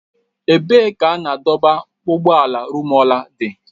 Ebee ka ebe a na-adọba- ụgbọala Rumuọla dị?